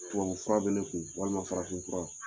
Tubabu fura bɛ ne kun walima farafin fura.